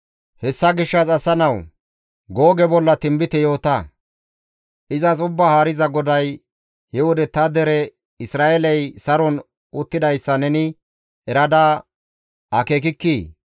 «Hessa gishshas asa nawu, Googe bolla tinbite yoota; izas Ubbaa Haariza GODAY, ‹He wode ta dere Isra7eeley saron uttidayssa neni erada akeekikkii?